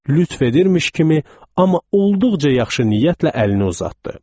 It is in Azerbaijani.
Lütf edirmiş kimi, amma olduqca yaxşı niyyətlə əlini uzatdı.